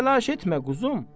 Heç təlaş etmə quzum.